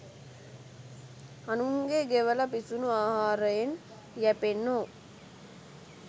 අනුන්ගේ ගෙවල පිසුනු ආහාරයෙන් යැපෙන්නෝ.